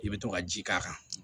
I bɛ to ka ji k'a kan